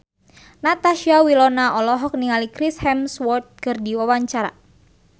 Natasha Wilona olohok ningali Chris Hemsworth keur diwawancara